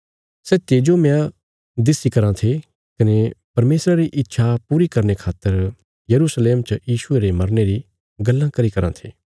सै तेजोमय दिस्या कराँ थे कने परमेशरा री इच्छा पूरी करने खातर यरूशलेम च यीशुये रे मरने री गल्लां करी कराँ थे